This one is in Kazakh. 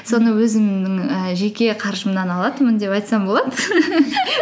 соны өзімнің ііі жеке қаржымнан алатынмын деп айтсам болады